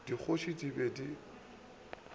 le dikgoši di be di